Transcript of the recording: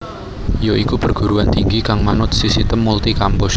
ya iku perguruan tinggi kang manut sisitem multi kampus